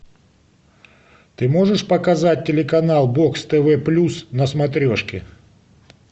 ты можешь показать телеканал бокс тв плюс на смотрешке